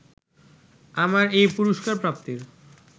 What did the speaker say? আমার এই পুরস্কারপ্রাপ্তির